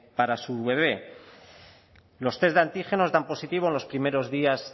para su bebé los test de antígenos dan positivo en los primeros días